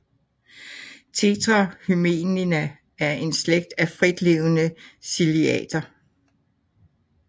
Tetrahymena er en slægt af fritlevende ciliater